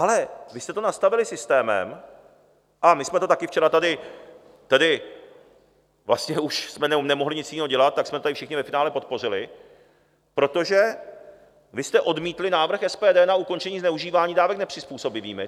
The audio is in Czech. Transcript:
Ale vy jste to nastavili systémem, a my jsme to také včera tady, tedy vlastně už jsme nemohli nic jiného dělat, tak jsme to tady všichni ve finále podpořili, protože vy jste odmítli návrh SPD na ukončení zneužívání dávek nepřizpůsobivými.